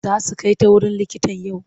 Za su kai ta wurin likitan yau?